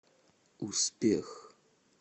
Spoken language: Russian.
успех